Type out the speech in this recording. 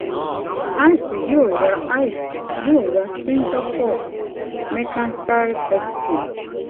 ice yóò ra ice yóò ra singapore mercantile exchange